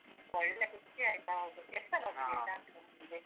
ಒಳ್ಳೆ ಖುಷಿ ಆಯ್ತ್ ಹೌದು, ಎಷ್ಟ್ ಸಲ ಹೋಗಿದಿರಿ ಕಾಂತಾರ movie ಗೆ?